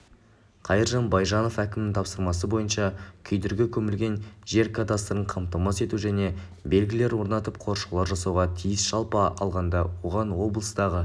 қайыржан байжанов әкімнің тапсырмасы бойынша күйдіргі көмілген жер кадастрын қамтамасыз ету және белгілер орнатып қоршаулар жасауға тиіс жалпы алғанда оған облыстағы